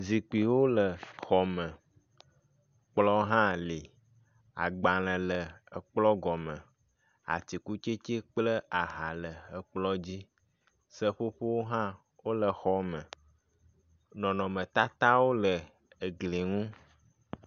Zikpuiwo le xɔme, kplɔ hã le, agbalẽ le ekplɔ gɔme, atikutsetse kple ahã le ekplɔ dzi. Seƒoƒowo hã wole xɔme, nɔnɔmetatawo le gli ŋu.